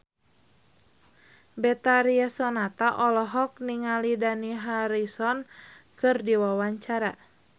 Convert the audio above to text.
Betharia Sonata olohok ningali Dani Harrison keur diwawancara